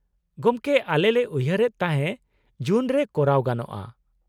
-ᱜᱚᱢᱠᱮ, ᱟᱞᱮ ᱞᱮ ᱩᱭᱦᱟᱹᱨ ᱮᱫ ᱛᱟᱦᱮᱸ ᱡᱩᱱ ᱨᱮ ᱠᱚᱨᱟᱣ ᱜᱟᱱᱚᱜᱼᱟ ?